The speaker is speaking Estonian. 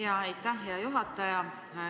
Jaa, aitäh, hea juhataja!